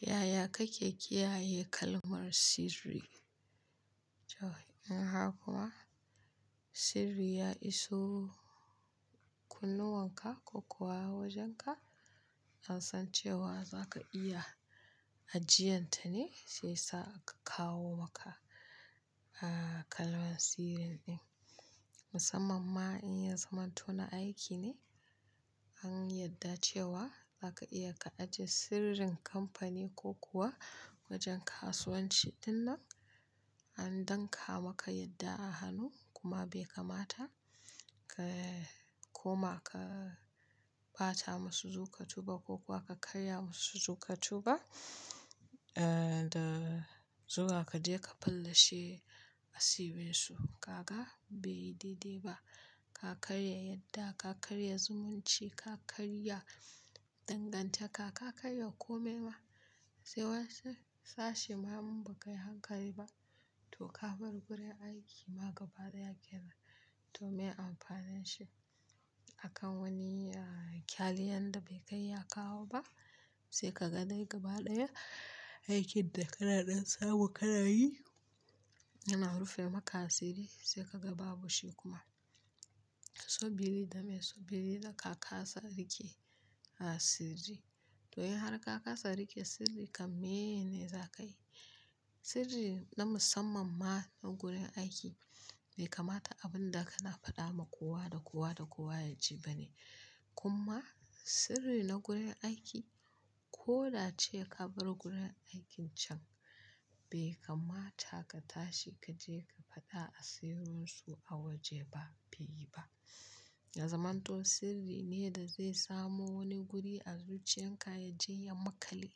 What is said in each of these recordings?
Yaya kake ƙiyaye kalmar sirri? In har kuma sirri ya iso kunnuwan ka ko kuwa wajen ka, an san cewa za ka iya ajiyenta ne sai sa aka kawo maka kalmar sirrin ɗin. Musamman ma in ya zamanto na aiki ne, an yadda cewa za ka iya ka ajiye sirrin kamfani ko kuwa wajen kasuwanci ɗin nan. An dankama ka yadda a hanu kuma bai kamata ka koma ka bata masu zuƙa tuba ko kuwa ka karya musu zuƙa tuba da zuwa ka je ka fallashe asibinsu. Kaga bai yi daidai ba. Ka karya yadda, ka karya zumunci, ka karya danganta ka, ka karya komai ma. Sai wasu sashe ma in ba kai hankali ba, to ka bar gurin aiki ma gaba daya kenan to meye amfanin shi. Akan wani kyali yanda bai kai ya kawo ba sai ka ga dai gaba daya aikin da ka naɗan samu ka na yi yana rufe maka asiri sai ka ga babu shi kuma. Subili dame subili da ka kasa riƙe a sirri. To in har ka kasa riƙe sirri kam me ne za ka yi? Sirri na musamman ma na gurin aiki bai kamata abin da ka na faɗa ma kowa da kowa da kowa ya ji ba ne. Kuma sirri na gurin aiki ko da ce ka bar gurin aikin can bai kamata ka tashi ka je ka faɗa asirinsu a waje ba, bai yi ba. Na zamanto sirri ne da zai samu wani guri a zuciyan ka ya jeya makale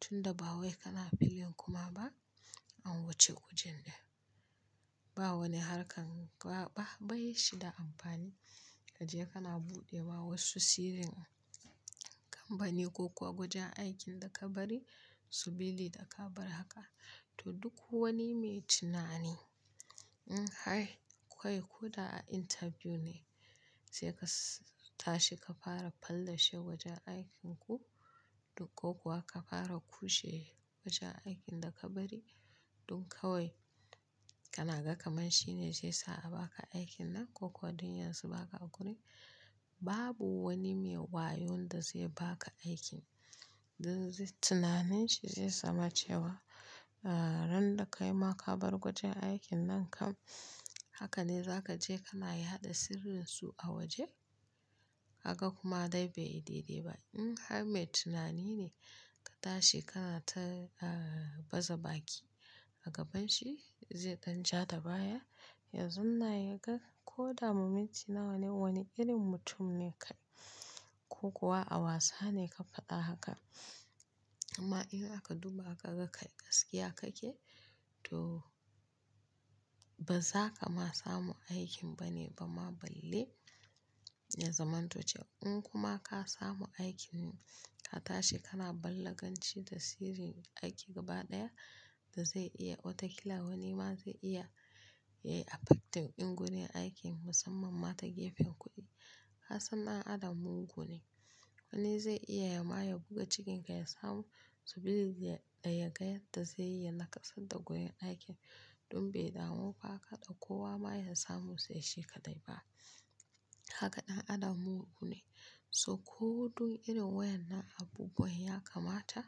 tunda ba wai ka na filin kuma ba an wuce wajen ɗin. Ba wani harkar ka ba bai yi shi da amfani ka je ka na buɗe ma wasu sirrin kamfani ko kuwa gujan aikin da ka bari subili da ka bar haka. To duk wani mai tunani in har kai koda a interview ne sai ka tashi ka fara fallashe wajen aikin ku ko kuwa ka fara kushe wajen aikin da ka bari ɗin kawai ka na ga kamar shi ne zai sa a baka aikin nan ko kuwa ɗin yanzu baka a gurin. Babu wani mai wayo wanda zai baka aikin. Tunanin shi zai zama cewa ran da ka yi ma ka bar gujen aikin nan kam haka ne za ka je ka na yaɗa sirrinsu a waje? Ka ga kuma dai bai yi daidai ba. In har mai tunani ne ka tashi ka na ta bazaɓaƙi a gaban shi zai ɗan ja da baya. Yanzun na ya ga ko da mu mintuna wane wani irin mutum ne kai ko kuwa a wasa ne ka faɗa haka. Amma in aka duba ka ga kai gaskiya kake to ba za ka ma samu aikin ba ne ba ma balle ya zamantocen. In kuma ka samu aikin ka tashi ka na balaganci da sirrin aiki gaba daya da zai iya otakila wani ma zai iya effect ɗin gurin aikin musamman ma ta gefen kuɗi. Kasan na Adam mu gune wani zai iya ya maye guga cikin kai ya samu subili da ya ga yadda zai yi yana kasada gurin aikin ɗin bai damu ba haka ɗa kowa ma ya samu sai shi ka dai ba. Kaga ɗan Adam mu gu ne. So ko dun irin wayan nan abubuwan ya kamata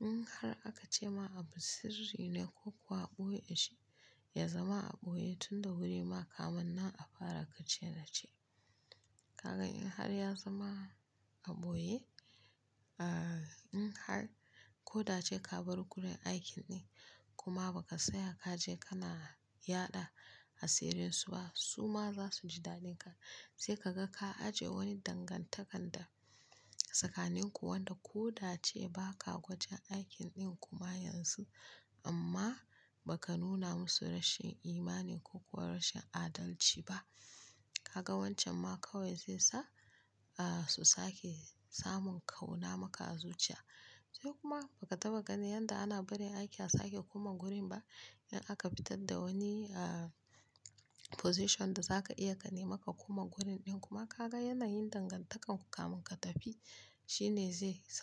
in har aka ce ma abu sirri ne ko kuwa a ɓoye shi, ya zama a ɓoye tunda wuri ma kam nan a fara ka ce na ce. Ka ga in har ya zama a ɓoye, in har ko da ce ka bar gurin aikin ɗin kuma ba ka saya ka je ka na yaɗa asirinsu ba su ma za su ji dadin ka. Sai ka ga ka ajiye wani dangantakan da tsakanin ku wanda ko da ce baka gujen aikin ɗin kuma yanzu amma ba ka nuna musu rashin imani ko kuwa rashin adalci ba. Ka ga wancan ma kawai zai sa su sake samun ƙauna maka a zuciya. Sai kuma ba ka taɓa gani yanda ana barin aiki a sake kuma gurin ba in aka fitar da wani position da za ka iya ka nemi ka kuma gurin ɗin kuma ka ga yana yin dangantakan ku kamun ka tafi shi ne zai sa.